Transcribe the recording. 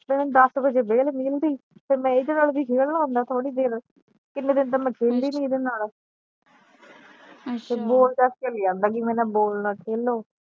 ਫਿਰ ਦਸ ਵਜੇ ਵੇਹਲ ਮਿਲੀ ਸੀ ਤੇ ਫਿਰ ਮੈ ਏਦੇ ਨਾਲ ਵੀ ਖੇਲਣਾ ਹੁੰਦਾ ਥੋੜੀ ਦੇਰ ਕਿਨ੍ਹੇ ਦਿਨ ਤਾ ਮੈ ਖੇਲੀ ਨਹੀਂ ਏਦੇ ਨਾਲ ਬਾਲ ਦਸ ਕੇ ਆਂਦਾ ਈ ਕੇ ਮੇਰੇ ਨਾਲ ਬਾਲ ਨਾਲ ਖੇਲੋ।